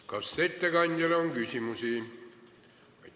Kas ettekandjale on küsimusi?